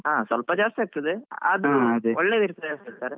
ಹಾ ಸ್ವಲ್ಪ ಜಾಸ್ತಿ ಆಗ್ತದೆ ಅದು ಒಳ್ಳೆದಿರ್ತದೆ ಅಂತಾರೆ.